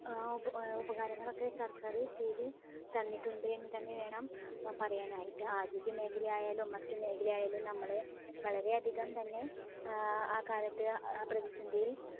ഉപ ഉപകാരങ്ങളൊക്കെ സർക്കാർ ചെയ്ത തന്നിട്ടുണ്ട് എന്ന് തന്നെ വേണം പറയാനായിട്ട്. ആരോഗ്യ മേഖലയായാലും മാറ്റ് മേഖലയായാലും നമ്മളെ വളരെ അധികം തന്നെ ഏർ ആ കാലത്ത് ആ പ്രധിസന്ധിയിൽ